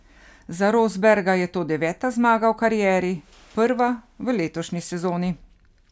Za Rosberga je to deveta zmaga v karieri, prva v letošnji sezoni.